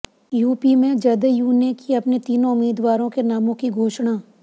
UP में जदयू ने की अपने तीन उम्मीदवारों के नामों की घोषणा